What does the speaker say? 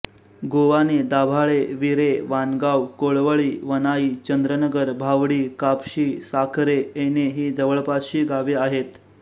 गोवाणे दाभाळे विरे वाणगाव कोळवळी वनाई चंद्रनगर भावडी कापशी साखरे ऐने ही जवळपासची गावे आहेत